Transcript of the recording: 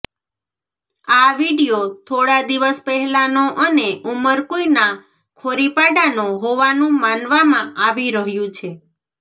આ વીડિયો થોડા દિવસ પહેલાનો અને ઉમરકુંઇના ખોરીપાડાનો હોવાનું માનવામાં આવી રહ્યું છે